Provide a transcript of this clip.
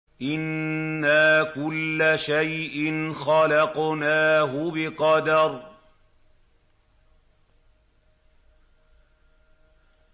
إِنَّا كُلَّ شَيْءٍ خَلَقْنَاهُ بِقَدَرٍ